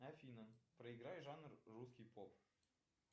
афина проиграй жанр русский поп